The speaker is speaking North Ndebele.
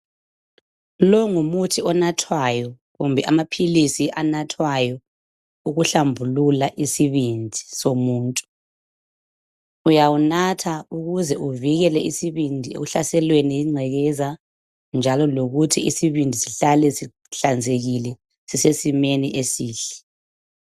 Longumuthi onathwayo kumbe amaphilisi anathwayo ukuhlambulula isibindi somuntu. Uyawunatha ukuze uvikele isibindi ekuhlaselweni yingcekeza njalo lokuthi isibindi sihlale sihlanzekile sisesimeni esihle.